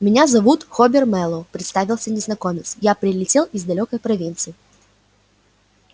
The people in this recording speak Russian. меня зовут хобер мэллоу представился незнакомец я прилетел из далёкой провинции